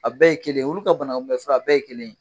A bɛɛ ye kelen ye, olu ka banakunbɛ fura a bɛɛ ye kelen ye.